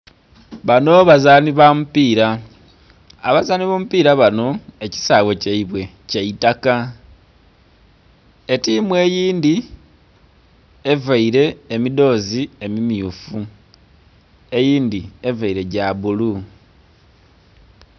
Bano bazaani bamupiira abazaani b'omupiira bano ekisaaghe kyaibwe, kyaitaka etimu eindhi evaire emidhoozi emumyuufu eindhi evaire gyabulu